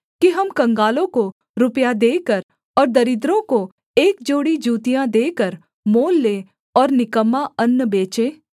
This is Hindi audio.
कि हम कंगालों को रुपया देकर और दरिद्रों को एक जोड़ी जूतियाँ देकर मोल लें और निकम्मा अन्न बेचें